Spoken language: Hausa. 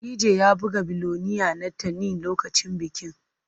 DJ ya buga 'Billionaire' na Teni lokacin bikin.